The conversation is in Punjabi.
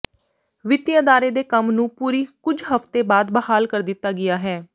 ਵਿੱਤੀ ਅਦਾਰੇ ਦੇ ਕੰਮ ਨੂੰ ਪੂਰੀ ਕੁਝ ਹਫ਼ਤੇ ਬਾਅਦ ਬਹਾਲ ਕਰ ਦਿੱਤਾ ਗਿਆ ਹੈ